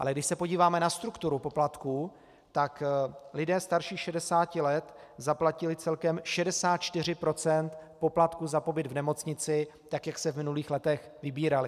Ale když se podíváme na strukturu poplatků, tak lidé starší 60 let zaplatili celkem 64 % poplatků za pobyt v nemocnici, tak jak se v minulých letech vybíraly.